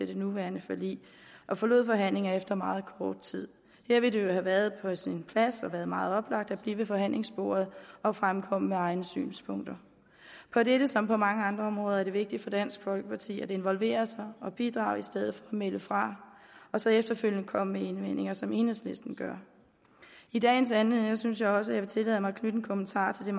det nuværende forlig og forlod forhandlingerne efter meget kort tid her ville det jo have været på sin plads og have været meget oplagt at blive ved forhandlingsbordet og fremkomme med egne synspunkter på dette som på mange andre områder er det vigtigt for dansk folkeparti at involvere sig og bidrage i stedet at melde fra og så efterfølgende komme med indvendinger sådan som enhedslisten gør i dagens anledning synes jeg også at jeg vil tillade mig at knytte en kommentar til